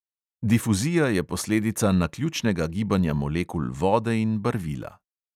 Difuzija je posledica naključnega gibanja molekul vode in barvila.